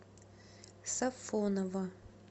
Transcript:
сафоново